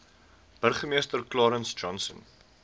burgemeester clarence johnson